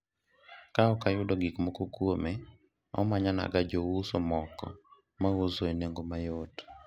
ka ok ayudo gikmoko kuome ,omanyonaga jouso moko mauso e nengo mayot